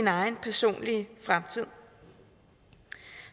egen personlige fremtid